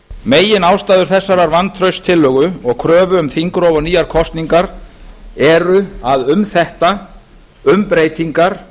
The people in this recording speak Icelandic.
meginástæður þessarar vantrauststillögu og kröfu um þingrof og nýjar kosningar eru að um þetta um breytingar